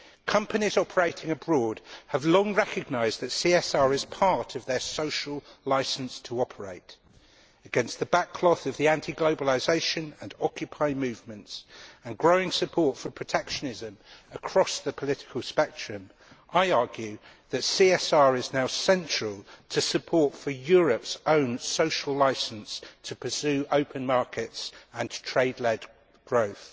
Companies operating abroad have long recognised that CSR is part of their social licence to operate. Against the backcloth of the anti globalisation and Occupy movements, and growing support for protectionism across the political spectrum, I argue that CSR is now central to support for Europe's own social licence to pursue open markets and trade led growth.